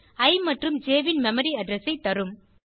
இ மற்றும் ஜ் ன் மெமரி அட்ரெஸ் ஐ தரும்